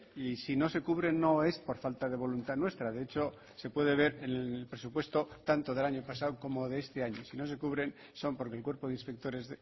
y si no se cubren no es por falta de voluntad nuestra de hecho se puede ver en el presupuesto tanto del año pasado como de este año si no se cubren son porque el cuerpo de inspectores